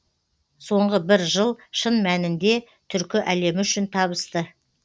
соңғы бір жыл шын мәнінде түркі әлемі үшін табысты